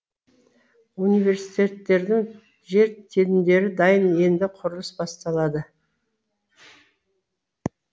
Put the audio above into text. университеттердің жер телімдері дайын енді құрылыс басталады